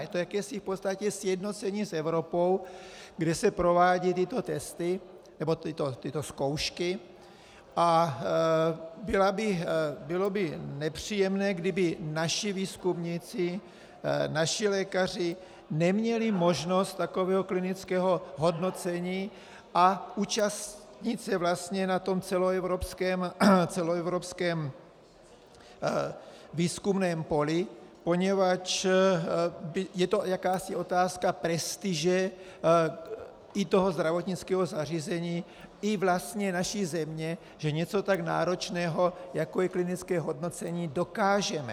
Je to jakési v podstatě sjednocení s Evropou, kde se provádějí tyto testy nebo tyto zkoušky, a bylo by nepříjemné, kdyby naši výzkumníci, naši lékaři, neměli možnost takového klinického hodnocení a účastnit se vlastně na tom celoevropském výzkumném poli, poněvadž je to jakási otázka prestiže i toho zdravotnického zařízení i vlastně naší země, že něco tak náročného, jako je klinické hodnocení, dokážeme.